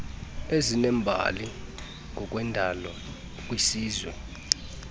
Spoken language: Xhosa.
ezinembali ngokwendalo kwisizwe